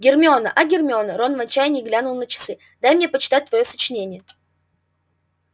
гермиона а гермиона рон в отчаянии глянул на часы дай мне почитать твоё сочинение